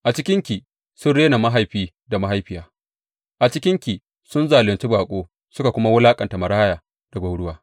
A cikinki sun rena mahaifi da mahaifiya; a cikinki sun zalunci baƙo suka wulaƙanta maraya da gwauruwa.